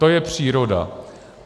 To je příroda.